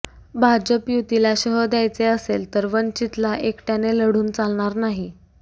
भाजप युतीला शह द्यायचे असेल तर वंचितला एकट्याने लढून चालणार नाही